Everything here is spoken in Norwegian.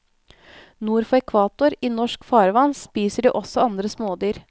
Nord for ekvator, i norske farvann, spiser de også andre smådyr.